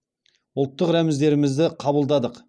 ұлттық рәміздерімізді қабылдадық